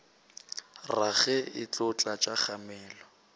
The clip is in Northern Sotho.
rage e tlo tlatša kgamelo